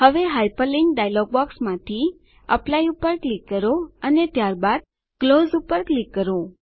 હવે hyperlink dialogue બોક્સમાંથી apply પર ક્લિક કરો અને ત્યારબાદ ક્લોઝ પર ક્લિક કરો